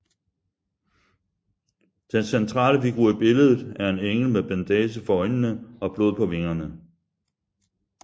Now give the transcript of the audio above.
Den centrale figur i billedet er en engel med bandage for øjnene og blod på vingerne